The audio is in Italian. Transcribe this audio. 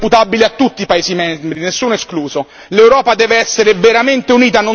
Ma questa crisi e le sue conseguenze sono imputabili a tutti i paesi membri, nessuno escluso.